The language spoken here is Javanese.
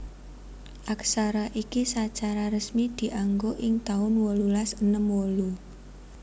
Aksara iki sacara resmi dianggo ing taun wolulas enem wolu